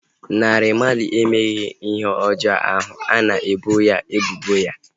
Naira Marley emeghị ihe ọjọọ ahu a na-ebo ya ebubo ya